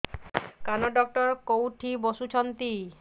କାନ ଡକ୍ଟର କୋଉଠି ବସୁଛନ୍ତି